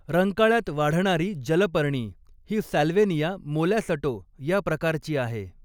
रंकाळ्यात वाढणारी जलपर्णी ही सॅल्वेनिया मोलॅसटो या प्रकारची आहे.